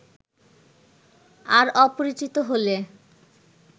আর অপরিচিত হলে